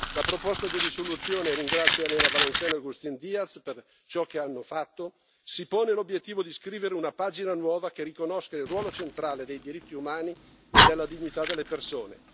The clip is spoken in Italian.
La proposta di risoluzione e ringrazio Elena Valenciano e Agustín Díaz per ciò che hanno fatto si pone l'obiettivo di scrivere una pagina nuova, che riconosca il ruolo centrale dei diritti umani e della dignità delle persone.